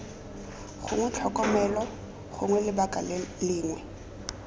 gongwe tlhokomelo gongwe lebaka lengwe